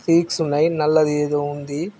Seeks ఉన్నాయి నల్లది ఏదో ఉంది.